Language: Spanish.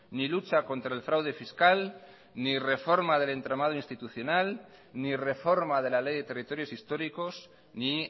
ni lucha contra el fraude fiscal ni reforma del entramado institucional ni reforma de la ley de territorios históricos ni